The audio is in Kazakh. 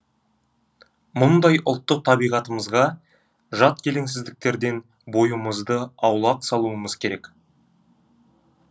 мұндай ұлттық табиғатымызға жат келеңсіздіктерден бойымызды аулақ салуымыз керек